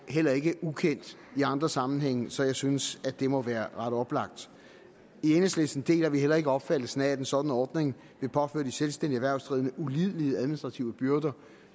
heller ikke ukendt i andre sammenhænge så jeg synes at det må være ret oplagt i enhedslisten deler vi heller ikke opfattelsen af at en sådan ordning vil påføre de selvstændige erhvervsdrivende ulidelige administrative byrder